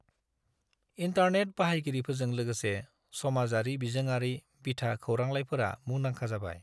Internet बाहायगिरिफोरजों लोगोसे, समाजारि बिजोंआरि बिथा खौरांलाइफोरा मुंदांखा जाबाय।